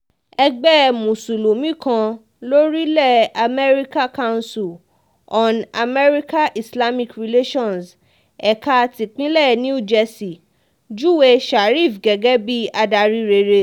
ẹgbẹ́ mùsùlùmí kan lórílẹ̀ amẹ́ríkà council on american-islamic relations ẹ̀ka tipinlẹ̀ new jersey júwe sharif gẹ́gẹ́ bíi adarí rere